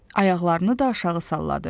Ayaqlarını da aşağı salladı.